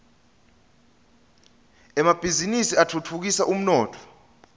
emabhiznnisi atfutfukisa umnotfo